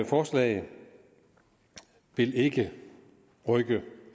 forslag vil ikke rykke